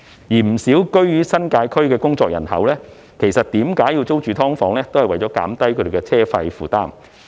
不少居於新界區的工作人口選擇租住"劏房"的原因，就是為了減低車費負擔。